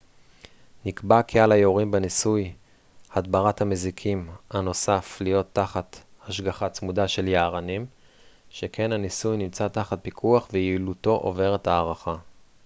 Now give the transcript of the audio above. נקבע כי על היורים בניסוי הדברת המזיקים הנוסף להיות תחת השגחה צמודה של יערנים שכן הניסוי נמצא תחת פיקוח ויעילותו עוברת הערכה